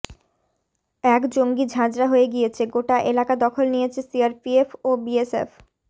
এক জঙ্গি ঝাঁঝরা হয়ে গিয়েছে গোটা এলাকা দখল নিয়েছে সিআরপিএফ ও বিএসএফ